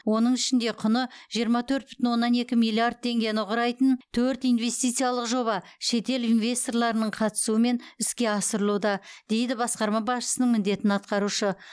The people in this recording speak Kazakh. оның ішінде құны жиырма төрт бүтін оннан екі миллиард теңгені құрайтын төрт инвестициялық жоба шетел инвесторларының қатысуымен іске асырылуда дейді басқарма басшысының міндетін атқарушы